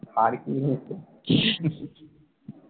আর কি নিয়ে করছিস?